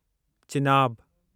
Chenab